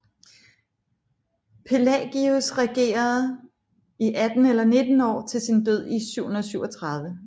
Pelagius regerede i atten eller nitten år til sin død i 737